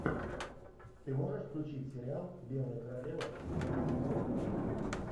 ты можешь включить сериал белая королева четвертый сезон